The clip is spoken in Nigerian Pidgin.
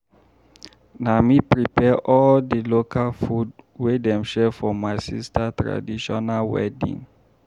Na me prepare all di local food wey dem share for my sister traditional wedding.